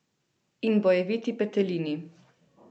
In bojeviti petelini.